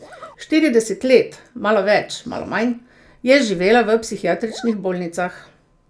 Štirideset let, malo več, malo manj, je živela v psihiatričnih bolnicah.